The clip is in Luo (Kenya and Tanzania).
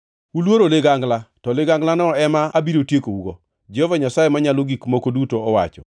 Uluoro ligangla, to liganglano ema abiro tiekougo, Jehova Nyasaye Manyalo Gik Moko Duto owacho.